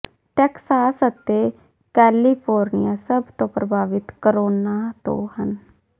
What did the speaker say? Texas ਅਤੇ California ਸਭ ਤੋਂ ਪ੍ਰਭਾਵਿਤ ਕੋਰੋਨਾ ਤੋਂ ਹਨ